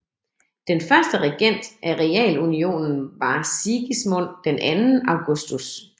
Den første regent af realunionen var Sigismund II Augustus